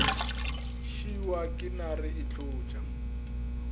šiwa ke nare e hlotša